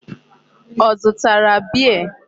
Ọ zụtara beer?